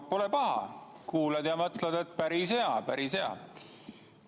No pole paha, kuulan ja mõtlen, et päris hea, päris hea.